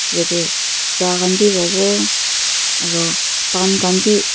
yate cha khan b wowo aru pan khan b--